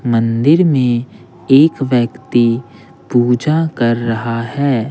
मंदिर में एक व्यक्ति पूजा कर रहा है।